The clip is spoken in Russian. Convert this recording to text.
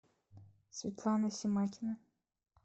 светлана семакина